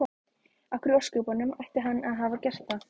Af hverju í ósköpunum ætti hann að hafa gert það?